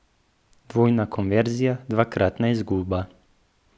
Dvojna konverzija, dvakratna izguba.